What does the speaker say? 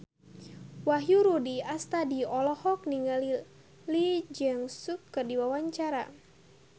Wahyu Rudi Astadi olohok ningali Lee Jeong Suk keur diwawancara